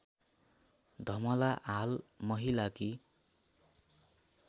धमला हाल महिलाकी